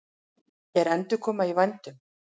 Er endurkoma í vændum?